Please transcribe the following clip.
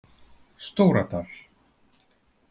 Stóradal